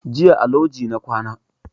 Jiya a loji na kwana